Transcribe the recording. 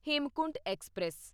Hemkunt express